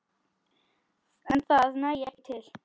En það nægi ekki til.